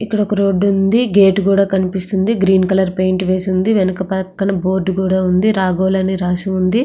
ఇక్కడ ఒక రోడ్డు ఉంది. గేటు కూడా కనిపిస్తుంది. గ్రీన్ కలర్ పెయింటింగ్ వేసి ఉంది. వెనక పక్కన బోర్డు ఉంది. రాగోలని రాసి ఉంది.